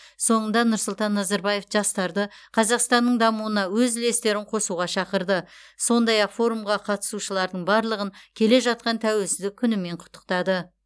соңында нұрсұлтан назарбаев жастарды қазақстанның дамуына өз үлестерін қосуға шақырды сондай ақ форумға қатысушылардың барлығын келе жатқан тәуелсіздік күнімен құттықтады